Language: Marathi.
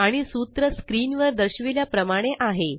आणि सूत्र स्क्रीन वर दर्शविल्या प्रमाणे आहे